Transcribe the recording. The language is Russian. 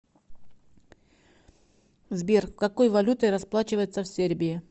сбер какой валютой расплачиваются в сербии